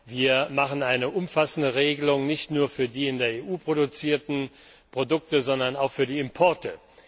Wir machen hier eine umfassende Regelung nicht nur für die in der EU produzierten Produkte, sondern auch für die Importe.